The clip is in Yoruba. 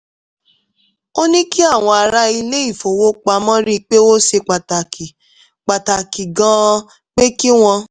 ó ní kí àwọn ará ilé-ifowopamọ rí i pé ó ṣe pàtàkì pàtàkì gan-an pé kí wọ́n